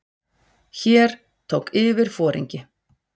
Hér tók yfirforingi